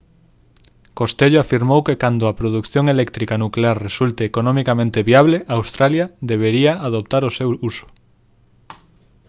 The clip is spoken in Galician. costello afirmou que cando a produción eléctrica nuclear resulte economicamente viable australia debería adoptar o seu uso